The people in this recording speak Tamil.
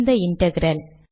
இந்த இன்டெக்ரல்